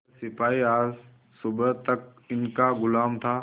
वह सिपाही आज सुबह तक इनका गुलाम था